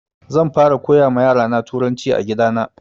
Zan fara koya ma yara na turanci a gida na